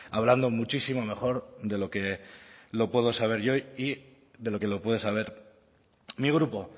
hablando muchísimo mejor de lo que lo puedo saber yo y de lo que lo puede saber mi grupo